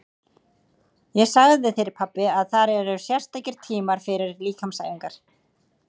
Ég sagði þér pabbi að þar eru sérstakir tímar fyrir líkamsæfingar.